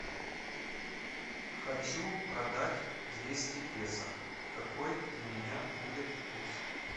хочу продать двести песо какой для меня будет курс